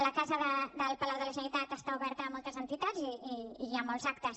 la casa del palau de la generalitat està oberta a moltes entitats i a molts actes